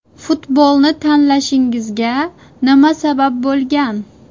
Futbolni tanlashingizga nima sabab bo‘lgan?